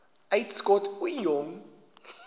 uitskot ooie jong